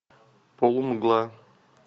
полумгла